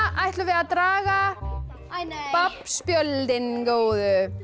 ætlum við að draga babb spjöldin góðu